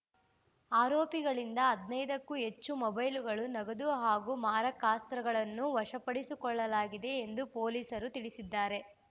ಆರೋಪಿಗಳಿಂದ ಹದಿನೈದಕ್ಕೂ ಹೆಚ್ಚು ಮೊಬೈಲ್‌ಗಳು ನಗದು ಹಾಗೂ ಮಾರಕಾಸ್ತ್ರಗಳನ್ನು ವಶಪಡಿಸಿಕೊಳ್ಳಲಾಗಿದೆ ಎಂದು ಪೊಲೀಸರು ತಿಳಿಸಿದ್ದಾರೆ